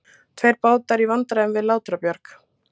Tveir bátar í vandræðum við Látrabjarg